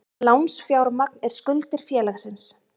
Lánsfjármagn er skuldir félagsins.